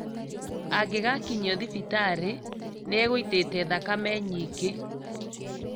Angĩgakinyio thibitatĩ nĩagũitĩte thakame nyingĩ